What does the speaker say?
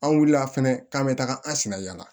An wulila fɛnɛ k'an bɛ taga an sen na yan